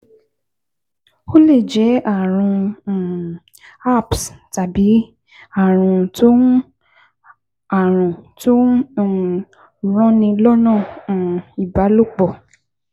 Ó lè jẹ́ ààrùn um herpes tàbí ààrùn tó ń ààrùn tó ń um ranni lọ́nà um ìbálòpọ̀